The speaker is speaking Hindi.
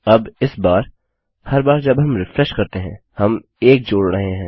अब इस बार हर बार जब हम रिफ्रेशकरते हैं हम 1 जोड़ रहे हैं